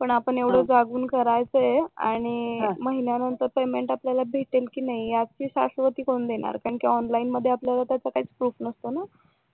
पण आपण एवढं जागून करायचं आणि महिन्यानंतर पेमेंट आपल्याला भेटेल कि नाही याची शाश्वती कोण देणार कारण कि ऑनलाईन मध्ये आपल्याला त्याचा काहीच प्रूफ नसतो ना